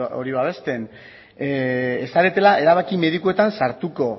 hori babesten ez zaretela erabaki medikuetan sartuko